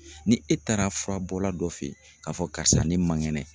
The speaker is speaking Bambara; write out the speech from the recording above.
Ni e taara furabɔla dɔ fɛ yen, k'a fɔ karisa, ne man kɛnɛ.